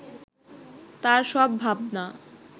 তার সব ভাবনা